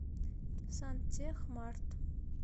сантехмарт